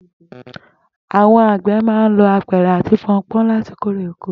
Àwo̩n àgbè̩ máa ń lo apè̩rè àti po̩npó̩n láti kó erè oko